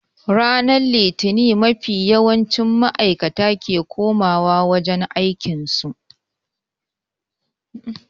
Ranar litini mafi yawancin maaikata ke koma wa wajen ayyukan su